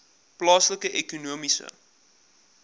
plaaslike ekonomiese